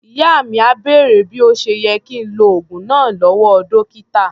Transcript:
Ìyá mi à bèrè bí ó ṣe yẹ kí ń lo oògùn náà lọ́wọ́ dọ́kítà.